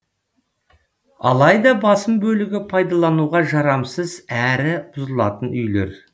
алайда басым бөлігі пайдалануға жарамсыз әрі бұзылатын үйлер